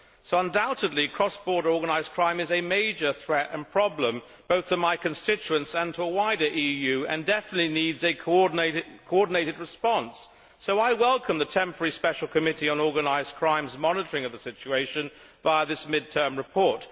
So undoubtedly cross border organised crime is a major threat and problem, both to my constituents and to the wider EU, and definitely needs a coordinated response. I welcome the Temporary Special Committee on Organised Crime's monitoring of the situation via this mid term report.